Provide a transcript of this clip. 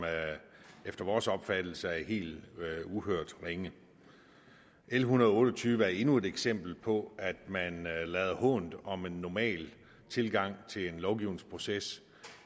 efter vores opfattelse er helt uhørt ringe l en hundrede og otte og tyve er endnu et eksempel på at man lader hånt om en normal tilgang til lovgivningsprocessen